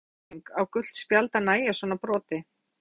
Er þetta of hörð refsing, á gult spjald að nægja svona broti?